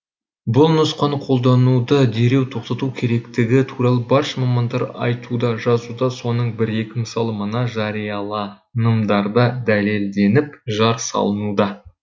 бұл нұсқаны қолдануды дереу тоқтату керектігі туралы барша мамандар айтуда жазуда соның бір екі мысалы мына жарияланымдарда дәлелденіп жар салынуда